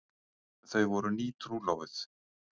Þau voru nýtrúlofuð.